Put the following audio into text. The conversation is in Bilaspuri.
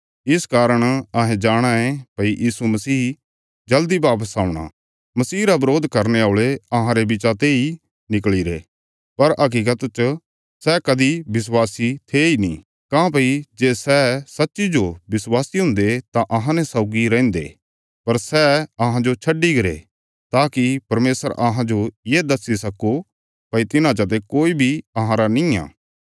सै मसीह रा बरोध करने औल़े अहांरा साथ छड्डी ने चली गरे पर सै अहांरे अपणे नीं थे जे सै अहांरे अपणे हुन्दे तां अहांने सौगी रैहन्दे पर सै अहांजो छड्डी गरे ताकि परमेशर अहांजो ये दस्सी सक्को भई तिन्हां चते कोई बी अहांरा निआं